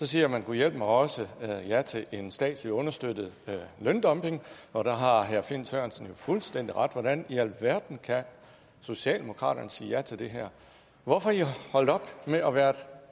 siger gudhjælpemig også ja til en statslig understøttet løndumping og der har herre finn sørensen jo fuldstændig ret hvordan i alverden socialdemokraterne kan sige ja til det her hvorfor er i holdt op med at være et